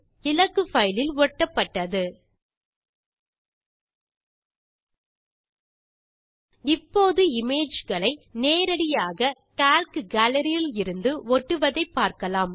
இலககு file லில் ஒட்டப்பட்டது இப்போது இமேஜ் களை நேரடியாக கால்க் கேலரி இலிருந்து ஒட்டுவதை பார்க்கலாம்